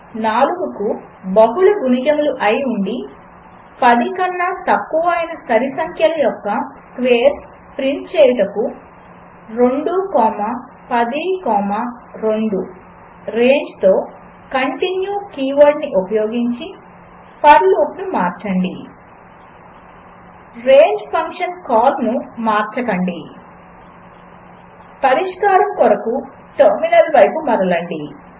4 కు బహుళ గుణిజములు అయి ఉండి 10 కన్నా తక్కువ అయిన సరిసంఖ్యల యొక్క స్క్వేర్స్ ప్రింట్ చేయుటకు 2 కామా 10 కామా 2 రేంజ్తో కంటిన్యూ కీవర్డ్ని ఉపయోగించి ఫర్ లూపును మార్చండి రేంజ్ ఫంక్షన్ కాల్ను మార్చకండి పరిష్కారం కొరకు టెర్మినల్ వైపు మరలండి